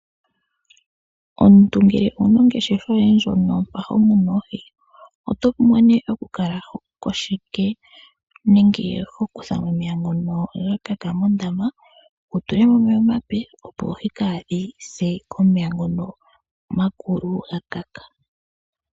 Omuntu ngele owuna ongeshefa yoye ndjono ho munu oohi otovulu okukala ho kutha omeya ngono ga kaka mondama wu tulemo omeya ngono omape opo oohi kadhise komeya ngono omakulu ga kaka.